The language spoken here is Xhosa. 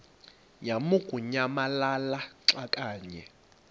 lamukunyamalala xa kanye